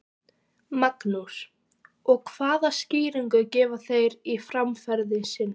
Magnús: Og hvaða skýringu gefa þeir á framferði sínu?